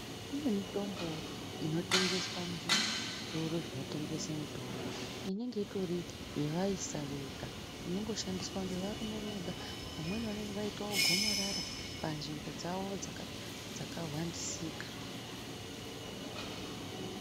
Kune mitombo inotengeswa muzvitoro zvinotengeswa mitombo inonga uri yevaisa Vega inongoshandiswa nevarume Vega vamweni vanenge vaita gomarara panzvimbo dzawo dzakahwandisika.